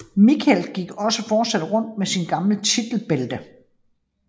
Michaels gik også fortsat rundt med sit gamle titelbælte